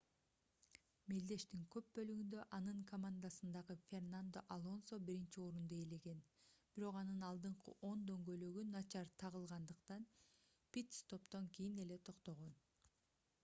мелдештин көп бөлүгүндө анын командасындагы фернандо алонсо биринчи орунду ээлеген бирок анын алдыңкы оң дөңгөлөгү начар тагылгандыктан пит-стоптон кийин эле токтогон